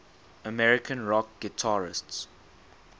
american rock guitarists